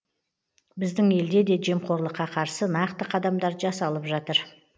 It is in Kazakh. біздің елде де жемқорлыққа қарсы нақты қадамдар жасалып жатыр